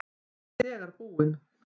Hún er þegar búin.